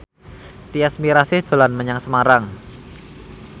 Tyas Mirasih dolan menyang Semarang